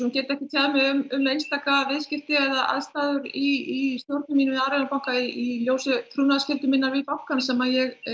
get ekki tjáð mig um einstaka viðskipti eða aðstæður í mínu við Arion banka í ljósi trúnaðarskyldu minnar við bankann sem ég